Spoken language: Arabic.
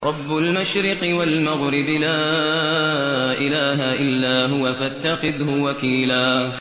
رَّبُّ الْمَشْرِقِ وَالْمَغْرِبِ لَا إِلَٰهَ إِلَّا هُوَ فَاتَّخِذْهُ وَكِيلًا